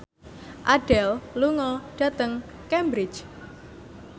Adele lunga dhateng Cambridge